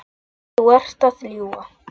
Þú ert að ljúga!